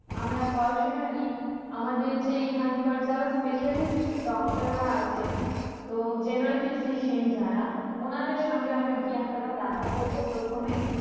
আমরা personally আমাদের যে এখানকার যারা specialist doctor রা আছেন তো general physician যারা ওনাদের সঙ্গে আমরা গিয়ে একটা বার দেখা করবো প্রথমে